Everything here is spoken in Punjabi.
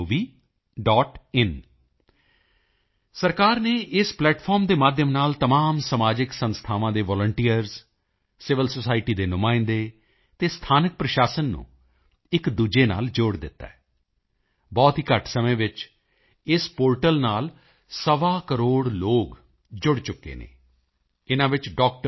in ਸਰਕਾਰ ਨੇ ਇਸ ਪਲੈਟਫਾਰਮ ਦੇ ਮਾਧਿਅਮ ਰਾਹੀਂ ਤਮਾਮ ਸਮਾਜਿਕ ਸੰਸਥਾਵਾਂ ਦੇ ਵਾਲੰਟੀਅਰਜ਼ ਸੀਵਿਲ ਸੋਸਾਇਟੀ ਦੇ ਨੁਮਾਇੰਦੇ ਅਤੇ ਸਥਾਨਕ ਪ੍ਰਸ਼ਾਸਨ ਨੂੰ ਇੱਕਦੂਜੇ ਨਾਲ ਜੋੜ ਦਿੱਤਾ ਹੈ ਬਹੁਤ ਹੀ ਘੱਟ ਸਮੇਂ ਵਿੱਚ ਇਸ ਪੋਰਟਲ ਨਾਲ ਸਵਾਕਰੋੜ ਲੋਕ ਜੁੜ ਚੁੱਕੇ ਹਨ ਇਨ੍ਹਾਂ ਵਿੱਚ doctor